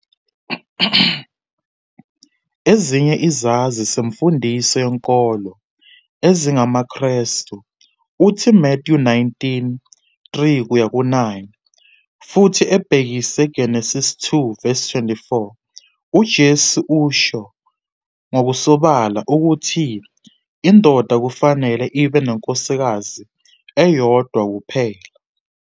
Ezinye izazi zemfundiso yenkolo ezingamaKrestu uthi Matthew 19.3-9 futhi ebhekise Genesis 2.24 uJesu usho ngokusobala ukuthi indoda kufanele ibe nenkosikazi eyodwa kuphela.